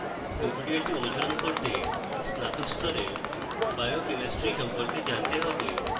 tutorial অনুসরণ করতে স্নাতক স্তরের biochemistry সম্পর্কে জানতে have